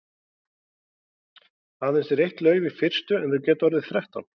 Aðeins er eitt lauf í fyrstu en þau geta orðið þrettán.